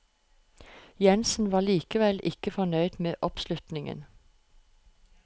Jensen var likevel ikke fornøyd med oppslutningen.